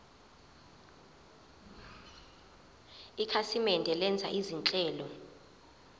ikhasimende lenza izinhlelo